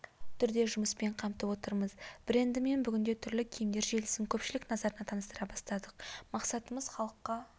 түрде жұмыспен қамтып отырмыз брендімен бүгінде түрлі киімдер желісін көпшілік назарына таныстыра бастадық мақсатымыз халыққа